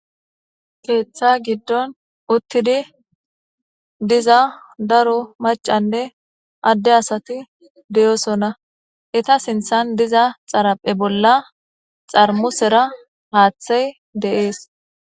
keeththa giddon uttidi diza daro macanne adde asati deyosona eta sinthan diza xaraphe bolla xarmusera haaththey deees